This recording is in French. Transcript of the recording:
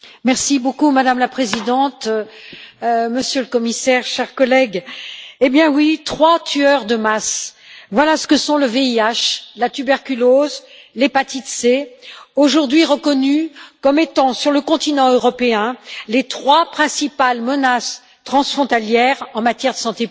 Madame la Présidente, Monsieur le Commissaire, chers collègues, trois tueurs de masse, voilà ce que sont le VIH, la tuberculose et l'hépatite C, aujourd'hui reconnus comme étant, sur le continent européen, les trois principales menaces transfrontalières en matière de santé publique.